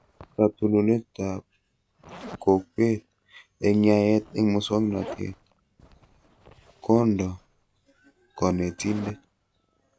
Katununetab kokwet eng yaet eng muswonotet: kondo konetindet